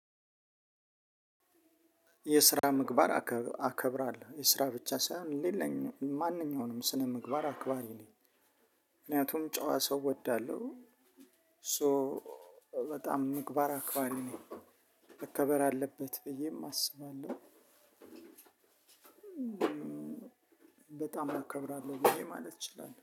የስራ ምግባር አከ አከብራለሁ የስራ ብቻ ሳይሆን ሌላኛ ማንኛውንም ስነ ምግባር አክባሪ ነኝ። ምክንያቱም ጨዋ ሰው እወዳለሁ። ሶ በጣም ምግባር አክባሪ ነኝ። መከበር አለበት ብዬም አስባለሁ። በጣም አከብራለሁ ብዬ ማለት እችላለሁ